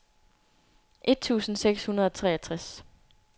et tusind seks hundrede og treogtres